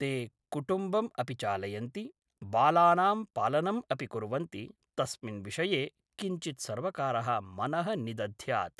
ते कुटुम्बम् अपि चालयन्ति बालानां पालनम् अपि कुर्वन्ति तस्मिन् विषये किञ्चित् सर्वकारः मनः निदध्यात्